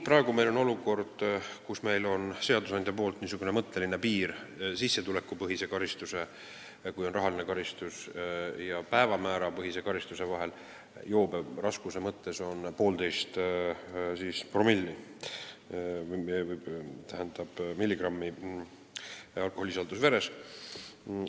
Praegu on seadusandja kehtestanud rahalise karistuse korral niisuguseks mõtteliseks piiriks sissetulekupõhise karistuse ja päevamäärapõhise karistuse vahel jooberaskuse mõttes 1,5-milligrammise alkoholisisalduse veres.